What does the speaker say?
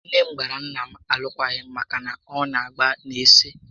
Nné m gbara nnà m alụkwaghị m màkà na ọ nà agba n'ezi